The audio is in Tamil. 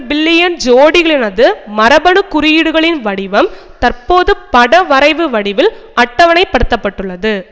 பில்லியன் சோடிகளினது மரபணு குறியீடுகளின் வடிவம் தற்போது படவரைவு வடிவில் அட்டவணைப்படுத்தப்பட்டுள்ளது